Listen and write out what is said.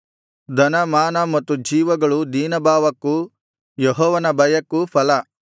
ಧನ ಮಾನ ಮತ್ತು ಜೀವಗಳು ದೀನಭಾವಕ್ಕೂ ಯೆಹೋವನ ಭಯಕ್ಕೂ ಫಲ